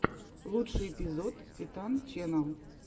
лучший эпизод титан ченнал